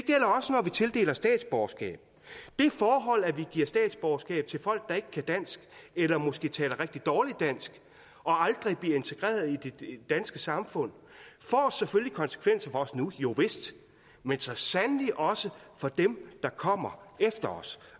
vi tildeler statsborgerskab det forhold at vi giver statsborgerskab til folk der ikke kan dansk eller måske taler rigtig dårligt dansk og aldrig bliver integreret i det danske samfund får selvfølgelig konsekvenser for os nu jo vist men så sandelig også for dem der kommer efter os